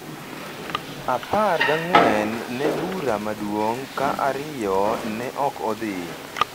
apar gang'wen ne bura maduong’ ka ariyo ne ok odhi.